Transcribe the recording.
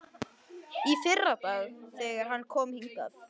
Í fyrradag, þegar hann kom hingað.